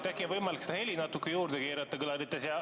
Äkki on võimalik seda heli natuke juurde keerata kõlarites.